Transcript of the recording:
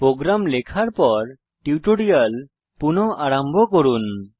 programme লেখার পর tutorial পুনঃ আরম্ভ করুন